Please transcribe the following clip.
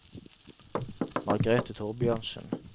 Margrete Thorbjørnsen